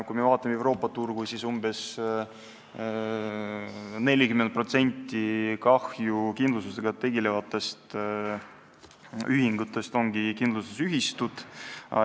Kui me vaatame Euroopa turgu, siis umbes 40% kahjukindlustusega tegelevatest ühingutest ongi kindlustusühistud.